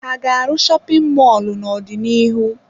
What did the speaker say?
Ha ga-arụ shopin mọlụ n'ọdịnihu?